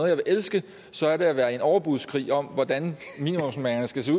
jeg vil elske så er det at være i en overbudskrig om hvordan minimumsnormeringerne skal se